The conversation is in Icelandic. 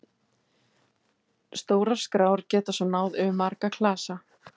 Stórar skrár geta svo náð yfir marga klasa.